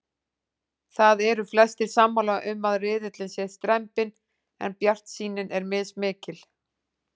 Það eru flestir sammála um að riðillinn sé strembinn en bjartsýnin er mismikil.